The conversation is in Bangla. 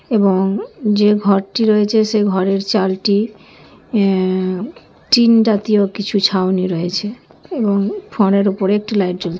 এবং যে ঘরটি রয়েছে সে ঘরের চালটি এ টিন জাতীয় কিছু ছাউনি রয়েছে এবং ফোয়ারার উপর একটি লাইট জ্বল--